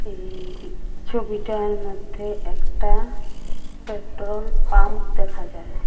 এই ছবিটার মধ্যে একটা পেট্রোল পাম্প দেখা যায়।